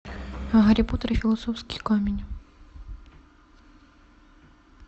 гарри поттер и философский камень